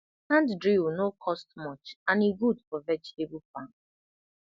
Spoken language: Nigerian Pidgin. hand drill no cost much and e good for vegetable farm